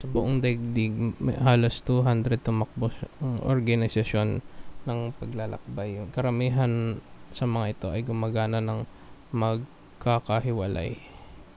sa buong daigdig may halos 200 tumatakbong organisasyon ng paglalakbay karamihan sa mga ito ay gumagana nang magkakahiwalay